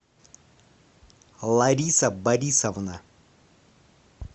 лариса борисовна